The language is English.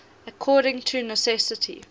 according to necessity